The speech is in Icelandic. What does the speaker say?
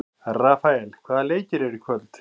Rafael, hvaða leikir eru í kvöld?